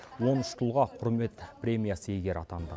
он үш тұлға құрмет премиясы иегері атанды